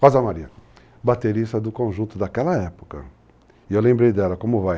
Rosa Maria, baterista do conjunto daquela época, e eu lembrei dela, como vai,